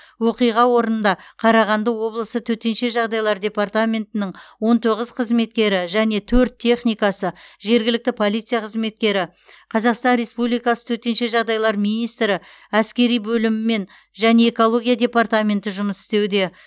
оқиға орнында қарағанды облысы төтенше жағдайлар департаментінің он тоғыз қызметкері және төрт техникасы жергілікті полиция қызметкері қазақстан республикасы төтенше жағдайлар министрі әскери бөлімі және экология департаменті жұмыс істеуде